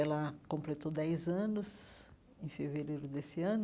Ela completou dez anos em fevereiro desse ano.